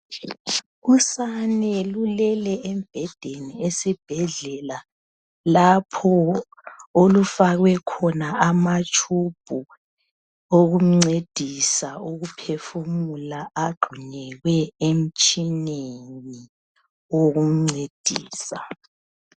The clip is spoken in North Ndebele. Usane lulelel esibhedlela lapho olufakwe khona amatube okumncedisa ukuphefumula agxunyekwe emtshineni okumncedisa.